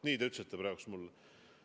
Nii te ütlesite praegu mulle.